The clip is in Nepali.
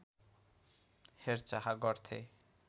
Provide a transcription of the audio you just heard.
हेरचाह गर्थे